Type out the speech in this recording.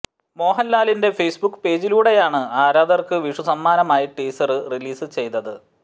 മോഹന്ലാലിന്റെ Facebook പേജിലൂടെയാണ് ആരാധകര്ക്ക് വിഷു സമ്മാനമായി ടീസര് റിലീസ് ചെയ്തത്